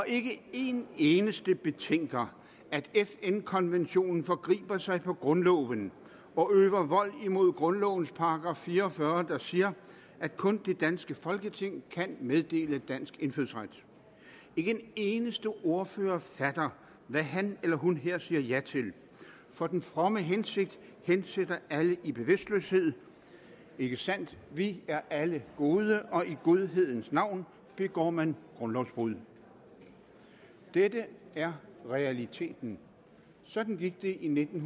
ikke en eneste betænker at fn konventionen forgriber sig på grundloven og øver vold mod grundlovens § fire og fyrre der siger at kun det danske folketing kan meddele dansk indfødsret ikke en eneste ordfører fatter hvad han eller hun her siger ja til for den fromme hensigt hensætter alle i bevidstløshed ikke sandt vi er alle gode og i godhedens navn begår man grundlovsbrud dette er realiteten sådan gik det i nitten